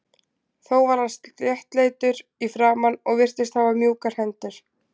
Þó var hann sléttleitur í framan og virtist hafa mjúkar hendur.